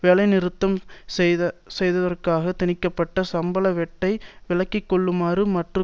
வேலைநிறுத்தம் செய்ததற்காக திணிக்க பட்ட சம்பள வெட்டை விலக்கிக்கொள்ளுமாறும் மற்றும்